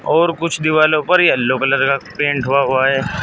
और कुछ दीवालो पर येलो कलर का पेंट हुआ हुआ है।